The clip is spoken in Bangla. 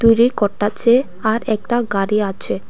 দূরে করতাছে আর একতা গাড়ি আছে।